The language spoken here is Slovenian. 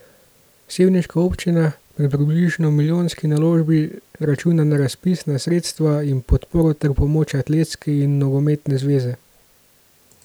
Sevniška občina pri približno milijonski naložbi računa na razpisna sredstva in podporo ter pomoč atletske in nogometne zveze.